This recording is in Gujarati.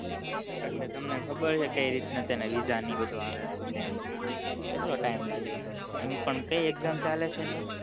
એટલે તમ ને ખબર છે કઈ રીતે તેના visa ને એ બધું આવે લુ છે એમ કેટલો time લાગે એમ પણ કઈ exam ચાલે છે અહિયાં